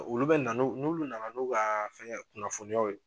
Olu bɛ na n'u n'ulu na na n'u ka fɛngɛ kunnafoniyaw ye